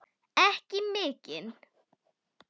Ekki mikinn.